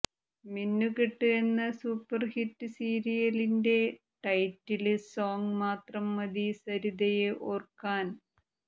മിന്നുകെട്ട് എന്ന സൂപ്പര്ഹിറ്റ് സീരിയലിന്റെ title song മാത്രം മതി സരിതയെ ഓര്ക്കാന്